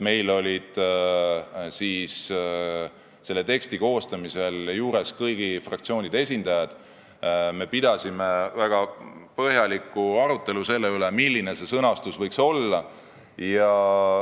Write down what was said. Meil olid teksti koostamise juures kõigi fraktsioonide esindajad ja me pidasime väga põhjaliku arutelu selle üle, milline see sõnastus võiks olla.